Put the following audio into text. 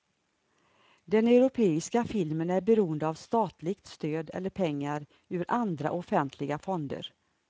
Den europeiska filmen är beroende av statligt stöd eller pengar ur andra offentliga fonder.